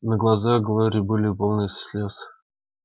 но глаза глории были полны слез